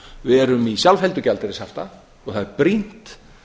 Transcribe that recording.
við erum í sjálfheldu gjaldeyrishafta og það er brýnt